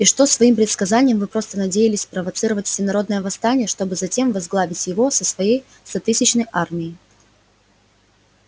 и что своим предсказанием вы просто надеялись спровоцировать всенародное восстание чтобы затем возглавить его со своей стотысячной армией